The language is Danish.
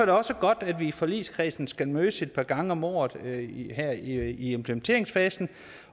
også godt at vi i forligskredsen skal mødes et par gange om året her i implementeringsfasen